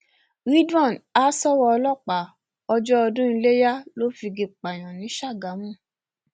ridwan ha ṣọwọ ọlọpàá ọjọ ọdún iléyà ló figi pààyàn ní ṣàgámù